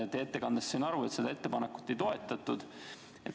Teie ettekandest sain aru, et seda ettepanekut ei toetatud.